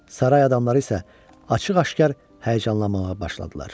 Saray adamları isə açıq-aşkar həyəcanlanmağa başladılar.